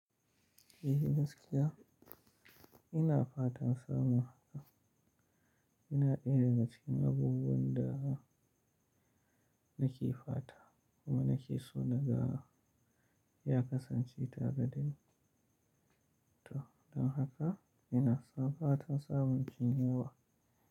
Eh gaskiya, ina fatan samun haƙa. Ina iya daga cikin abubuwan da nake fata kuma nake so na ga ya kasance ta gani ta. Don haka ina fatan samun cinyawa.